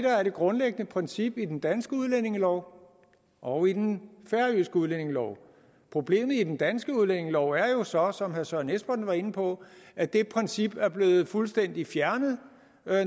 er det grundlæggende princip i den danske udlændingelov og i den færøske udlændingelov problemet i den danske udlændingelov er jo så som herre søren espersen var inde på at det princip er blevet fuldstændig fjernet